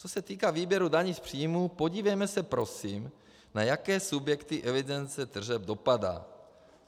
Co se týká výběru daní z příjmů, podívejme se prosím, na jaké subjekty evidence tržeb dopadá.